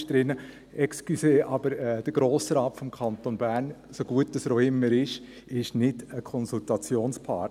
Entschuldigen Sie, aber der Grosse Rat des Kantons Bern, so gut er auch immer ist, ist kein Konsultationspartner.